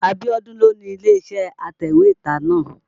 Abíọ́dún ló ni ilé-iṣẹ́ atẹ̀wétà náà.